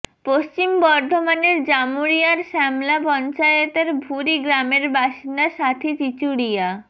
পশ্চিম বর্ধমানের জামুড়িয়ার শ্যামলা পঞ্চায়েতের ভুরি গ্রামের বাসিন্দা সাথী চিচুড়িয়া